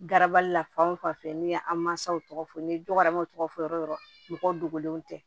Garabali la fan o fan fɛ n'i ye an mansaw tɔgɔ fɔ ni dɔgɔmanw tɔgɔ fɔ yɔrɔ dogolenw tɛ